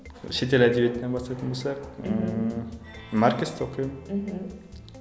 шетел әдебиетінен бастайтын болсақ ммм маркесті оқимын мхм